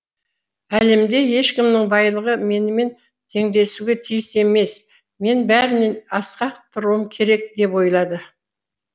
әлемде ешкімнің байлығы менімен теңдесуге тиіс емес мен бәрінен асқақ тұруым керек деп ойлады